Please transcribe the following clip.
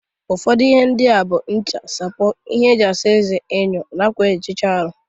Ụfọdụ ihe ndị a bụ ncha, sapo, ihe isa eze/ọnụ, enyo, na akwa eji ehicha aru.